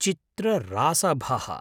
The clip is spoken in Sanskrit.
चित्ररासभः